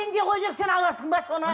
пенде ғой деп сен аласың ба соны